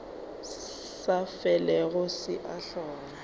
sa felego se a hlola